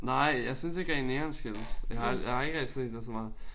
Nej jeg synes ikke rigtig neonskilte. Jeg har jeg har ikke rigtig set det så meget